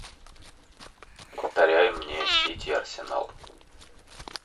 повторяй мне сити арсенал